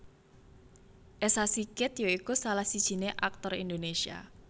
Esa Sigit ya iku salah sijiné aktor Indonésia